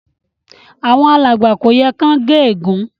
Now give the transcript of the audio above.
Àwon alàgbà kò yẹ kán gé ègún